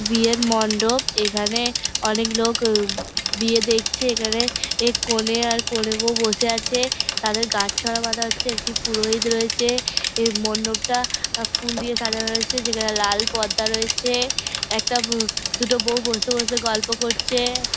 বিয়ের মণ্ডপ এখানে অনেক লোক বিয়ে দেখছে এখানে এ কোনে আর কোণে বৌ বসে আছে তাদের গাঁটছড়া বাধা হচ্ছে একটি পুরোহিত রয়েছে এই মণ্ডপটা ফুল দিয়ে সাজানো রয়েছে যেখানে লাল পর্দা রয়েছে একটা উ দুটো বৌ বসে বসে গল্প করছে |